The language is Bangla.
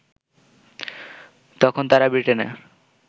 তখন তারা ব্রিটেনের